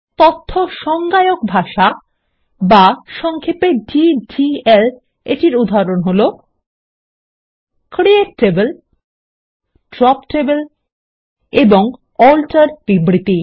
তথ্য সংজ্ঞায়ক ভাষা বা সংক্ষেপে ডিডিএল এর উদাহরণ হল 160 ক্রিয়েট টেবল ড্রপ টেবল এবং আল্টার বিবৃতি